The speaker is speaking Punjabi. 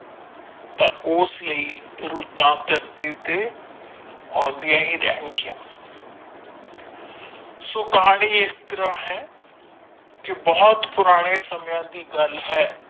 ਤਾ ਉਸ ਲਈ ਰੁੱਤਾਂ ਧਰਤੀ ਉੱਤੇ ਆਉਂਦੀਆਂ ਹੀ ਰਹਿਣਗੀਆਂ ਸੋ ਕਹਾਣੀ ਇਸ ਤਰਾਂ ਹੈ ਬਹੁਤ ਪੁਰਾਣੇ ਸਮਿਆਂ ਦੀ ਗੱਲ ਹੈ।